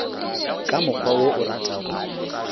ka mokgwa wo o ratago